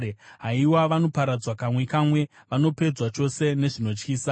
Haiwa, vanoparadzwa kamwe kamwe, vanopedzwa chose nezvinotyisa!